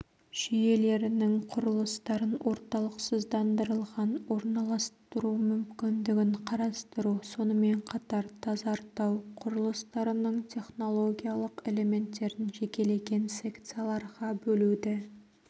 жүйелерінің құрылыстарын орталықсыздандырылған орналастыру мүмкіндігін қарастыру сонымен қатар тазартау құрылыстарының технологиялық элементтерін жекелеген секцияларға бөлуді